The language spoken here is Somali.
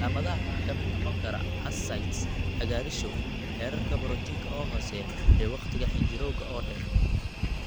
Calaamadaha waxaa ka mid noqon kara ascites, cagaarshow, heerarka borotiinka oo hooseeya, iyo wakhtiga xinjirowga oo dheer.